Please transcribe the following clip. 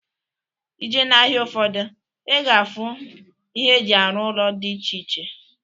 Ije na-ahịa ụfọdụ, ị ga-afụ ihe e ji arụ ụlọ dị iche iche